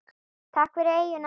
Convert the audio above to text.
Takk fyrir eyjuna.